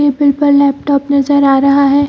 Laptop नजर आ रहा है।